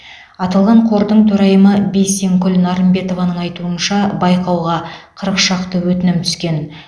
аталған қордың төрайымы бейсенкүл нарымбетованың айтуынша байқауға қырық шақты өтінім түскен